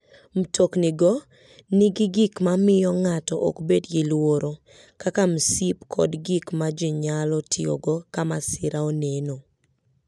Mtoknigo nigi gik ma miyo ng'ato ok bed gi luoro, kaka msip kod gik ma ji nyalo tiyogo ka masira oneno.